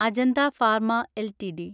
Ajanta pharma LTD